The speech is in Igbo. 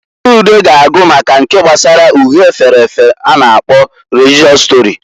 Chude ga agụ maka nke gbasara uhe efere efe a na-akpo religịọs stori.